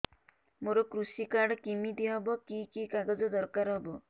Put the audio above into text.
ମୋର କୃଷି କାର୍ଡ କିମିତି ହବ କି କି କାଗଜ ଦରକାର ହବ